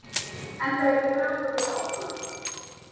Enda er ég ragur við að opna það.